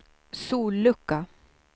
sollucka